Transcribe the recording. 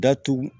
Datugu